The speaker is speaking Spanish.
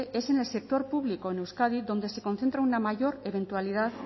en el sector público en euskadi donde se concentra una mayor eventualidad